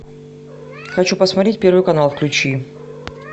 хочу посмотреть первый канал включи